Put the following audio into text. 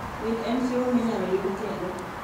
Winy en chiemo minyalo yud kendo.